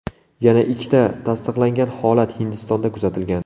Yana ikkita tasdiqlangan holat Hindistonda kuzatilgan.